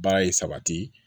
Baara ye sabati